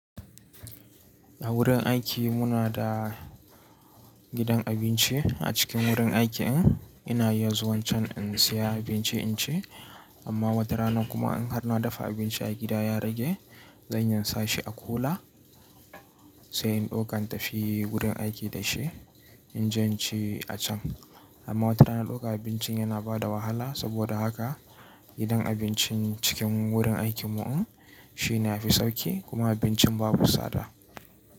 A wurin aiki muna da gidan abinci a cikin wurin aikin. Ina iya zuwan can in saya abinci in ci, amma wata rana kuma in har na dafa abinci a gida ya rage, zan iya in sa shi a kula sai in ɗauka in tafi wurin aiki da shi in je in ci a can. Amma wata rana ɗaukan abincin yana bada wahala. Saboda haka gidan abincin cikin wurin aikin mu'um shi ne ya fi sauki kuma abincin babu tsada.